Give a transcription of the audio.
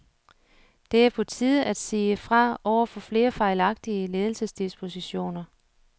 Det er på tide at sige fra over for flere fejlagtige ledelsesdispositioner.